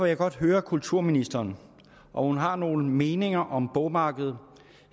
jeg godt høre kulturministeren om hun har nogle meninger om bogmarkedet